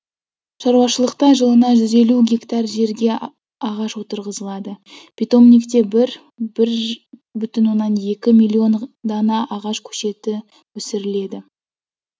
шаруашылықта жылына жүз елу гектар жерге ағаш отырғызылады питомникте бір бір бүтін оннан екі миллион дана ағаш көшеті өсіріледі